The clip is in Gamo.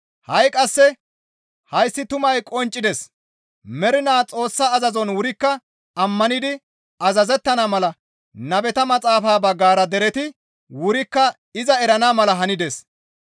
Ha7i qasse hayssi tumay qonccides; mernaa Xoossa azazon wurikka ammanidi azazettana mala nabeta maxaafa baggara dereti wurikka iza erana mala hanides.